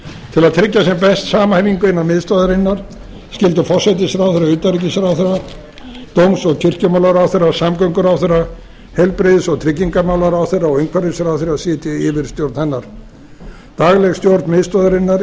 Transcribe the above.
til að tryggja sem best samhæfingu innan miðstöðvarinnar skyldu forsætisráðherra utanríkisráðherra dóms og kirkjumálaráðherra samgönguráðherra heilbrigðis og tryggingamálaráðherra og umhverfisráðherra sitja í yfirstjórn hennar dagleg stjórn miðstöðvarinnar